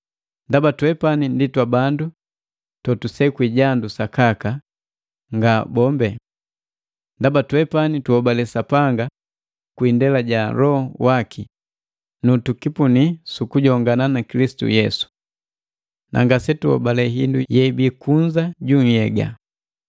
Ndaba twepani ndi twabandu totusekwi jandu sakaka, nga bombe! Ndaba twepani tuhobale Sapanga kwi indela ja Loho waki, nutukipuni sukujongana na Kilisitu Yesu. Nangasetuhobale hindu yeibii kunza ju nhyega.